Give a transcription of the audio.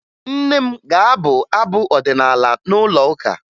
Nne m ga-agụ abụ ọdịnaala n'ụlọụka